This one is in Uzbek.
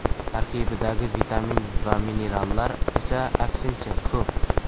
Tarkibidagi vitamin va minerallar esa, aksincha, ko‘p.